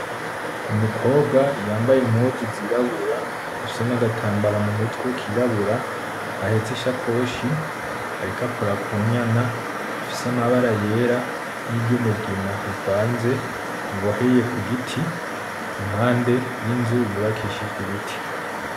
Umukobwa yambaye impuzu zirabura, afise nagatambara mumutwe kirabura, ahetse ishakoshi, ariko akora ku nyana. Ifise amabara yera ni ry'umugina bivanze, iboheye ku giti impande yinzu yubakishijwe ibiti.